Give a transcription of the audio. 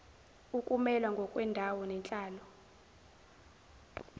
ukumelwa ngokwendawo nenhlalo